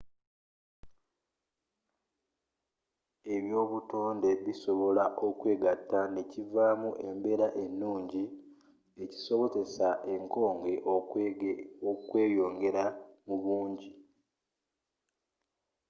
ebya obutoonde bisobola okwegatta nekivaamu embeera enuungi ekisobozesa enkoge okweyongera mubuungi